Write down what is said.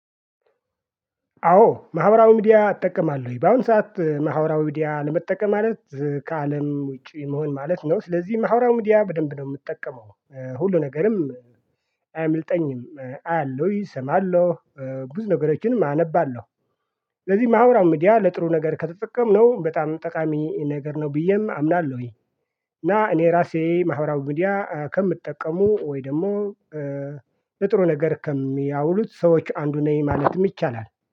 አዎ ማህበራዊ ሚዲያ እጠቀማለሁኝ በአሁን ሰዓት ማህበራዊ ሚዲያ አለመጠቀም ማለት ከአለም ውጪ መሆን ማለት ነው። ስለዚህ ማህበራዊ ሚድያ በደንብ ነው የምጠቀመው ሁሉ ነገርም አያምልጠኝም አያለሁ እሰማለሁ ብዙ ነገሮችንም አነባለሁ። ስለዚህ ማህበራዊ ሚዲያ ለጥሩ ነገር ከተጠቀምንው በጣም ጠቃሚ ነገር ነው ብዬም አምናለሁኝ። እና እኔ ራሴ ማህበራዊ ሚዲያ ከሚጠቀሙ ወይ ደግሞ ለጥሩ ነገር ከሚያውሉት ሰዎች አንዱ ነኝ ማለትም ይቻላል